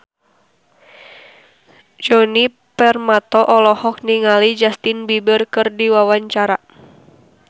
Djoni Permato olohok ningali Justin Beiber keur diwawancara